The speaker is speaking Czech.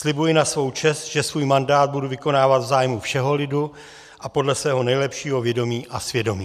Slibuji na svou čest, že svůj mandát budu vykonávat v zájmu všeho lidu a podle svého nejlepšího vědomí a svědomí."